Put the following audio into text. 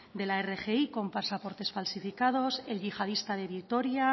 de la rgi con pasaportes falsificados el yihadista de vitoria